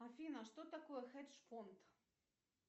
афина что такое хедж фонд